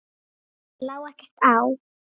Mér lá ekkert á.